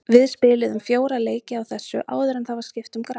Við spiluðum fjóra leiki á þessu áður en það var skipt um gras.